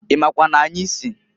I makwa n'anyị si?